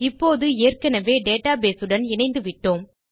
இப்போது ஏற்கெனெவே டேட்டாபேஸ் உடன் இணைந்து விட்டோம்